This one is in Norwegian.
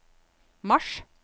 mars